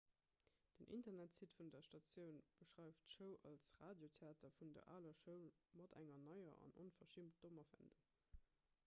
den internetsite vun der statioun beschreift d'show als radiotheater vun der aler schoul mat enger neier an onverschimmt dommer wendung